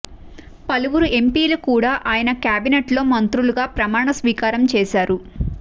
పలువురు ఎంపీలు కూడా ఆయన కేబినెట్లో మంత్రులుగా ప్రమాణ స్వీకారం చేశారు